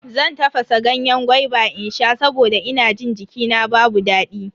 Zan tafasa ganyen gwaiba in sha saboda ina jin jikina babu daɗi.